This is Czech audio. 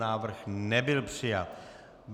Návrh nebyl přijat.